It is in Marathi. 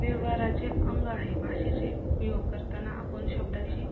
व्यवहाराचे अंग आहे भाषेचे उपयोग करताना आपण शब्दाची